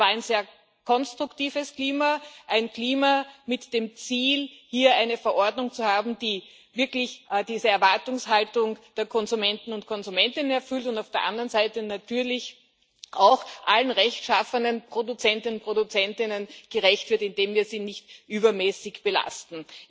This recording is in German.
Es war ein sehr konstruktives Klima ein Klima mit dem Ziel, hier eine Verordnung zu haben, die diese Erwartungshaltung der Konsumenten und Konsumentinnen wirklich erfüllt und auf der anderen Seite natürlich auch allen rechtschaffenen Produzenten und Produzentinnen gerecht wird, indem wir sie nicht übermäßig belasten.